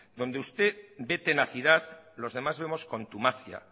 donde usted ve tenacidad los demás vemos contumacia